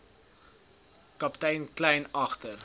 kaptein kleyn agter